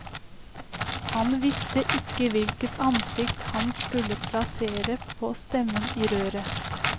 Han visste ikke hvilket ansikt han skulle plassere på stemmen i røret.